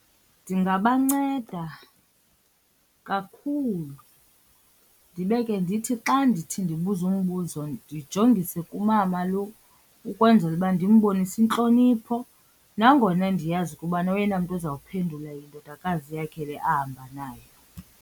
Ndingabanceda kakhulu ndibe ke ndithi xa ndithi ndibuza umbuzo ndijongisise kumama lo ukwenzela uba ndimbonise intlonipho, nangona ndiyazi ukubana oyena mntu uzawuphendula yindodakazi yakhe le ahamba nayo.